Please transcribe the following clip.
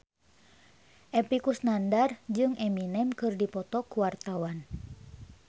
Epy Kusnandar jeung Eminem keur dipoto ku wartawan